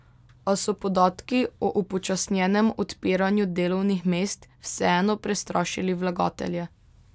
A so podatki o upočasnjenem odpiranju delovnih mest vseeno prestrašili vlagatelje.